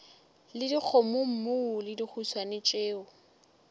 le dikgomommuu le dihuswane tšeo